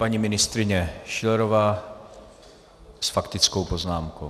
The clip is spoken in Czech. Paní ministryně Schillerová s faktickou poznámkou.